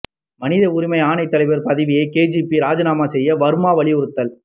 மனித உரிமை ஆணையத் தலைவர் பதவியை கேஜிபி ராஜினாமா செய்ய வர்மா வலியுறுத்தல்